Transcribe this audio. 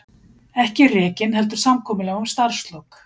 Ekki rekinn heldur samkomulag um starfslok